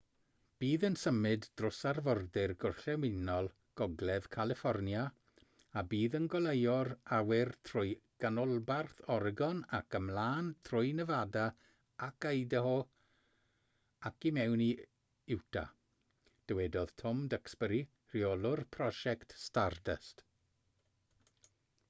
bydd yn symud dros arfordir gorllewinol gogledd califfornia a bydd yn goleuo'r awyr trwy ganolbarth oregon ac ymlaen trwy nefada ac idaho ac i mewn i utah dywedodd tom duxbury rheolwr prosiect stardust